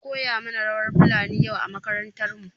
An koya mana rawar fulani yau a makarantar mu.